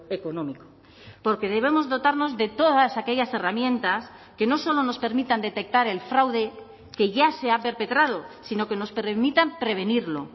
económico porque debemos dotarnos de todas aquellas herramientas que no solo nos permitan detectar el fraude que ya se ha perpetrado sino que nos permitan prevenirlo